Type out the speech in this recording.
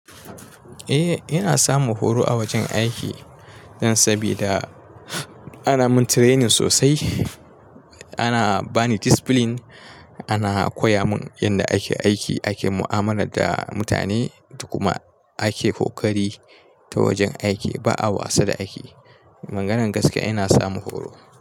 Eh, ina samun horo a wajen aiki dan sabida ana min training sosai. Ana bani discipline, ana koya mun yadda ake aiki, ake mu'amalar da mutane da kuma ake kokari ta wajen aiki. Ba'a wasa da aiki. A maganan gaskiya ina samun horo.